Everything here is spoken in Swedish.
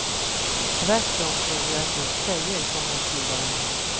Tvärtom tror jag att just tjejer kommer att gilla det här.